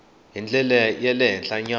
hi ndlela ya le henhlanyana